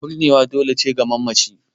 Binniya dole ce ga mamaci